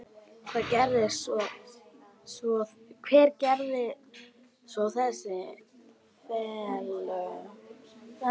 Hvað gera svo þessi félög?